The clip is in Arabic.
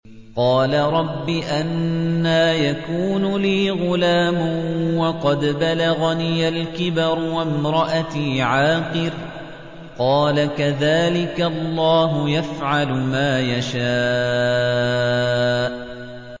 قَالَ رَبِّ أَنَّىٰ يَكُونُ لِي غُلَامٌ وَقَدْ بَلَغَنِيَ الْكِبَرُ وَامْرَأَتِي عَاقِرٌ ۖ قَالَ كَذَٰلِكَ اللَّهُ يَفْعَلُ مَا يَشَاءُ